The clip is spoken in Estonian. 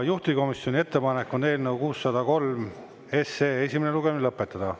Juhtivkomisjoni ettepanek on eelnõu 603 esimene lugemine lõpetada.